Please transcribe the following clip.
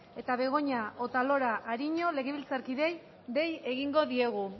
eta begoña otalora ariño legebiltzarkideei dei egingo diegu